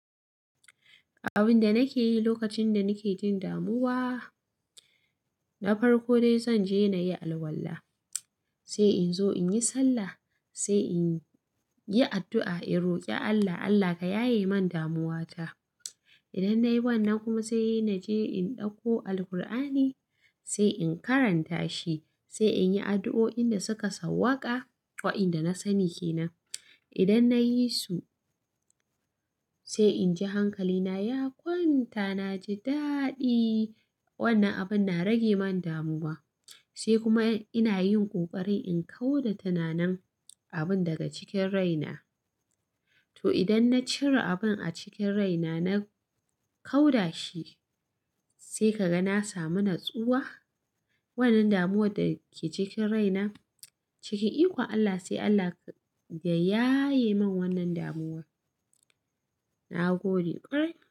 Abin da nake yi lokacin da nake jin damuwa, na farko dai zan je na yi alwala, sai in zo in yi sallah, sai in yi addu'a, in roƙi Allah, "Allah ka yaye man damuwata." Idan nayi wannan kuma sai na je in ɗauko Alqur'ani, sai in karanta shi, sai in yi addu'o'in da suka sauwaka wa inda na sani kenan. Idan nayi su sai inji hankalina, "Ya kwanta, na ji daɗi." Wannan abin na rage min damuwa, sai kuma ina yin ƙoƙari in kauda tunanin abin daga cikin raina. To idan na cire abin a cikin raina, na kauda shi sai ka ga na sami natsuwa. Wannan damuwar da ke cikin raina cikin ikon Allah sai Allah ya yaye min wannan damuwa. Na gode ƙwarai.